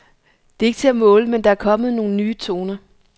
Det er ikke til at måle, men der er kommet nogle nye toner.